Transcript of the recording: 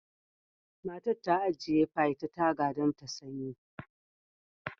Matar ta ajiye pie ta taga don ta sanyi